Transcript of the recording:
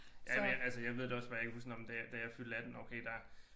Ja men altså jeg ved da også bare jeg kan huske nåh men da da jeg fyldte 18 okay der